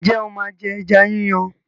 Ǹjẹ́ o máa jẹ ẹja yí yàn?